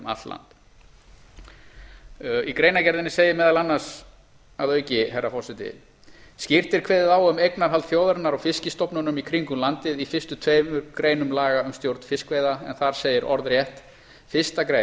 land í greinargerðinni segir meðal annars að auki herra forseti skýrt er kveðið á um eignarhald þjóðarinnar á fiskstofnunum í kringum landið í fyrstu tveimur greinum laga um stjórn fiskveiða þar segir orðrétt fyrstu